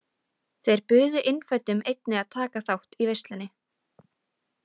Þeir buðu innfæddum einnig að taka þátt í veislunni.